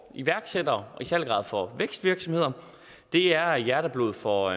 iværksættere i særlig grad for vækstvirksomheder er hjerteblod for